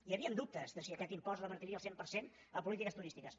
hi havien dubtes de si aquest impost revertiria al cent per cent en polítiques turístiques